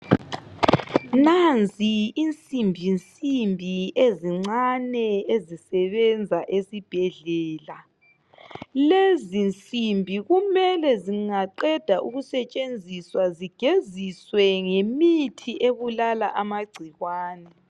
Nansi isimbisimbi ezincane ezisebenza esibhedlela. Lezi simbi kumele zingaqeda ukusetshenziswa zigeziswe ngemithi ebulala amagcikwana.